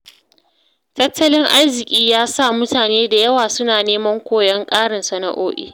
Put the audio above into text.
Tattalin arziki ya sa mutane da yawa suna neman koyon ƙarin sana’o’i.